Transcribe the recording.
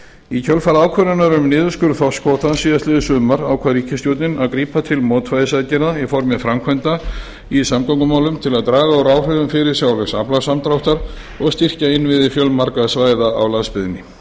í kjölfar ákvörðunar um niðurskurð þorskkvótans síðastliðið sumar ákvað ríkisstjórnin að grípa til mótvægisaðgerða í formi framkvæmda í samgöngumálum til að draga úr áhrifum fyrirsjáanlegs aflasamdráttar og styrkja innviði fjölmargra svæða á landsbyggðinni